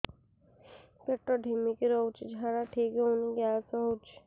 ପେଟ ଢିମିକି ରହୁଛି ଝାଡା ଠିକ୍ ହଉନି ଗ୍ୟାସ ହଉଚି